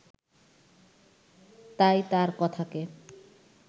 তাই তার কথাকে